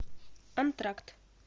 антракт